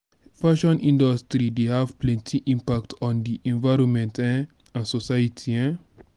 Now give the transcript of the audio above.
fashion industry dey have plenty impact on di envionment um and society. um